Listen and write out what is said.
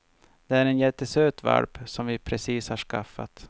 Det är en jättesöt valp, som vi precis har skaffat.